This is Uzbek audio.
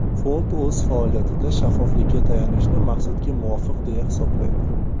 Fond o‘z faoliyatida shaffoflikka tayanishni maqsadga muvofiq deya hisoblaydi.